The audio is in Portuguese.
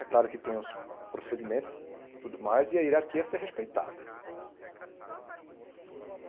É claro que tem os procedimentos e tudo mais e a hierarquia ser respeitada.